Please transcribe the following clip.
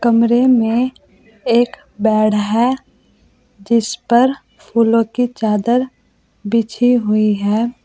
कमरे में एक बेड है जिस पर फूलों की चादर बिछी हुई है।